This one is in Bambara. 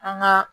An ga